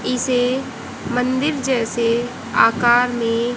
इसे मंदिर जैसे आकार में--